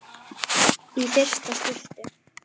Í fyrsta skipti.